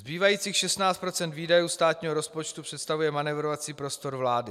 Zbývajících 16 % výdajů státního rozpočtu představuje manévrovací prostor vlády.